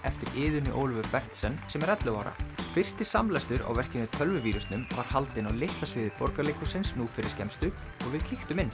eftir Iðunni Ólöfu Berndsen sem er ellefu ára fyrsti samlestur á verkinu tölvuvírusnum var haldinn á litla sviði Borgarleikhússins nú fyrir skemmstu og við kíktum inn